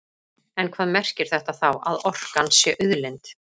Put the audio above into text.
En hvað merkir þetta þá, að orkan sé auðlind?